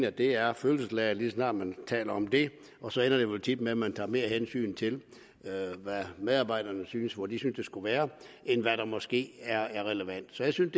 at det er følelsesladet lige så snart man taler om det og så ender det jo tit med at man tager mere hensyn til hvad medarbejderne synes og hvor de synes det skulle være end hvad der måske er relevant så jeg synes